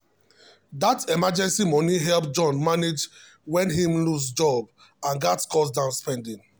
that emergency money help john manage when him lose job and gats cut down spending.